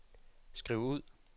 skriv ud